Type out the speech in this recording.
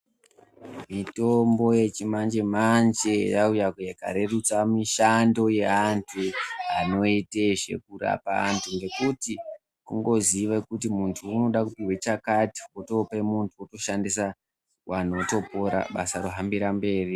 Mitombo yechimanje manje yauya ikarerutsa mishando yeantu anoite zvekurapa antu. Ngekuti kungoziye kuti muntu unoda kupihwa chakati otope muntu otoshandisa vantu votopora basa rohambire mberi.